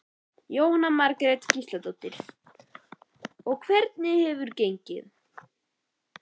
Jóhanna Margrét Gísladóttir: Og hvernig hefur gengið?